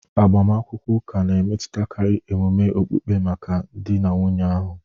Agbamakwụkwọ ụka na-emetụtakarị emume okpukpe maka di na nwunye ahụ..